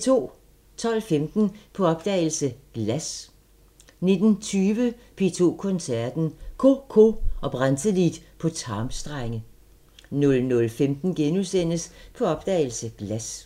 12:15: På opdagelse – Glas 19:20: P2 Koncerten – CoCo og Brantelid på tarmstrenge 00:15: På opdagelse – Glas *